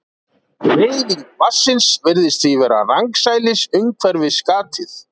Hreyfing vatnsins virðist því vera rangsælis umhverfis gatið.